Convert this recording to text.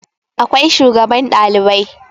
akwai shugaban Ɗalibai